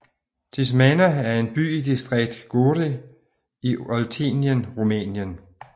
Tismana er en by i distriktet Gorj i Oltenien Rumænien